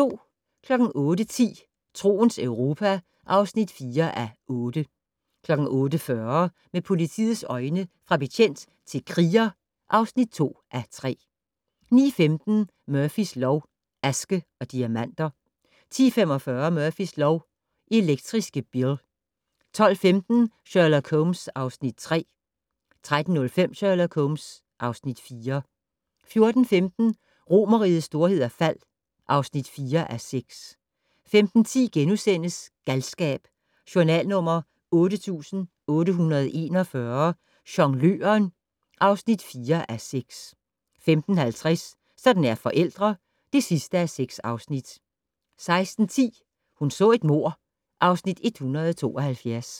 08:10: Troens Europa (4:8) 08:40: Med politiets øjne: Fra betjent til kriger (2:3) 09:15: Murphys lov: Aske og diamanter 10:45: Murphys lov: Elektriske Bill 12:15: Sherlock Holmes (Afs. 3) 13:05: Sherlock Holmes (Afs. 4) 14:15: Romerrigets storhed og fald (4:6) 15:10: Galskab: Journal nr. 8841 - Jongløren (4:6)* 15:50: Sådan er forældre (6:6) 16:10: Hun så et mord (Afs. 172)